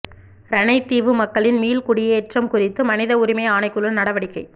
இரணைதீவு மக்களின் மீள் குடியேற்றம் குறித்து மனித உரிமை ஆணைக்குழு நடவடிக்கை